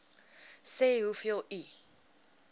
sê hoeveel u